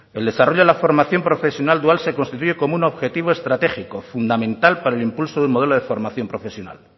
el desarrollo a la formación profesional dual se constituye como un objetivo estratégico fundamental para el impulso de un modelo de formación profesional